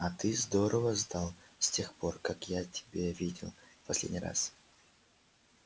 а ты здорово сдал с тех пор как я тебя видел в последний раз